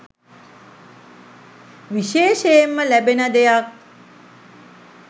විශේෂයෙන්ම ලැබෙන දෙයක්